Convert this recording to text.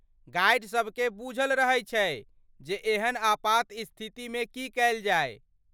Guide सबकेँ बूझल रहै छै जे एहन आपातस्थितिमे की कयल जाय।